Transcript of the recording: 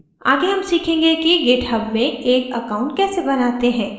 आगे हम सीखेंगे कि github में एक account कैसे बनाते हैं